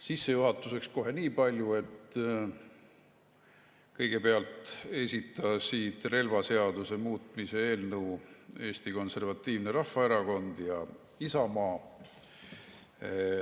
Sissejuhatuseks kohe niipalju, et kõigepealt esitasid relvaseaduse muutmise eelnõu Eesti Konservatiivne Rahvaerakond ja Isamaa.